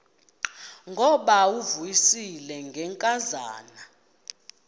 ngubawo uvuyisile ngenkazana